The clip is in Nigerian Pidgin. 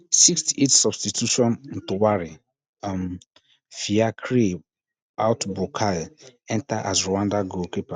sixt-eight substitution ntowari um fiacre out bukai enta as rwanda goalkeeper